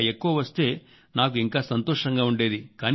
ఇంకా ఎక్కువ వస్తే నాకు ఇంకా సంతోషంగా ఉండేది